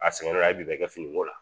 A sɛgɛn la a ye bi bɛɛ kɛ fini ko la